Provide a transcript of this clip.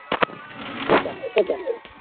এ দেখো